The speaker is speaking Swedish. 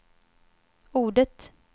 ordet